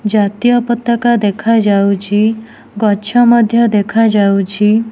ଜାତୀୟ ପତକା ଦେଖାଯାଉଛି ଗଛ ମଧ୍ୟ ଦେଖାଯାଉଛି।